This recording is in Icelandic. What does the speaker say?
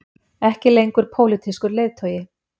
Ekki lengur pólitískur leiðtogi